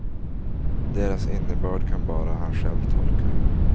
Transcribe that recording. Deras innebörd kan bara han själv tolka.